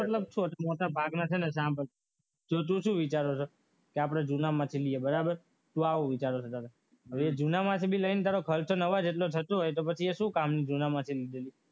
મતલબ સ્વાદુ મોટર ભાગમાંથી સાંજે તો શું વિચારતો હતો કે આપણે કે આપણે જૂનામાંથી લઈએ બરાબર શું આવું વિચારે છે હવે જૂનામાંથી લઈને ખર્ચ થતો હોય તો એ શું કામનું જૂનામાંથી લીધેલું